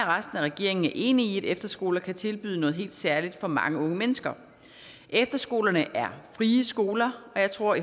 resten af regeringen er enige i at efterskoler kan tilbyde noget helt særligt for mange unge mennesker efterskolerne er frie skoler og jeg tror